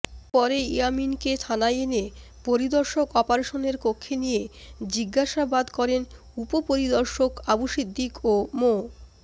পরে ইয়ামীনকে থানায় এনে পরিদর্শক অপারেশনের কক্ষে নিয়ে জিজ্ঞাসাবাদ করেন উপপরিদর্শক আবু সিদ্দিক ও মো